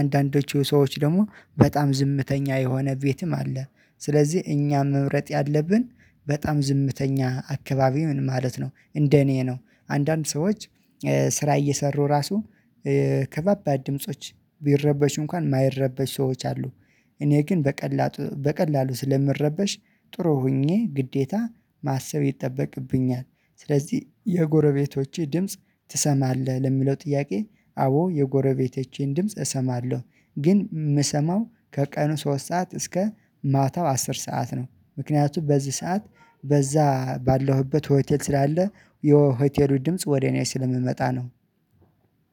አንዳንዶቹ ሰዎች ደግሞ በጣም ዝምተኛ የሆነ ቤትም አለ። ስለዚህ እኛም መምረጥ ያለብን በጣም ዝምተኛ አካባቢ ምን ማለት ነው እንደ እኔ ነው። አንዳንድ ሰዎች ስራ እየሰሩ ራሱ ከባባድ ድምጾች ቢረበሹ እንኳን የማይረበሹ ሰዎች አሉ። እኔ ግን በቀላጡ በቀላሉ ስለምረበሽ ጥሩ ሆኜ ግዴታ ማሰብ ይጠበቅብኛል። ስለዚህ የጎረቤቶቼ ድምጽ ትሰማለህ ለሚለው ጥያቄ? አዎ የጎረቤቶቼን ድምጽ እሰማለሁ። ግን የምሰማው ከቀኑ ሶስት ሰዓት እስከ ማታው አስር ሰዓት ነው። ምክንያቱም በዚህ ሰዓት በዛ ባለሁበት ሆቴል ስላለ የሆቴሉ ድምጽ ወደ እኔ ስለሚመጣ ነው።